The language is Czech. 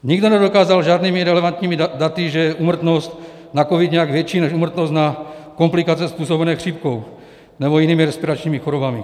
Nikdo nedokázal žádnými relevantními daty, že je úmrtnost na covid nějak větší než úmrtnost na komplikace způsobené chřipkou nebo jinými respiračními chorobami.